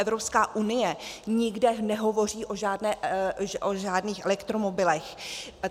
Evropská unie nikde nehovoří o žádných elektromobilech.